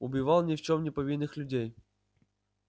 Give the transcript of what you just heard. убивал ни в чём не повинных людей